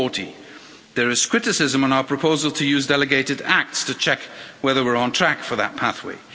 2040. There is criticism of our proposal to use delegated acts to check whether we're on track for that pathway.